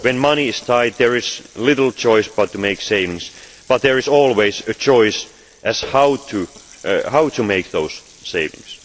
When money is tight, there is little choice but to make savings, but there is always a choice as to how to make those savings.